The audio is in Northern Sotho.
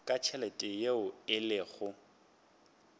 ka tšhelete yeo e lego